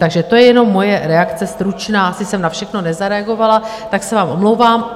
Takže to je jenom moje reakce stručná - asi jsem na všechno nezareagovala, tak se vám omlouvám.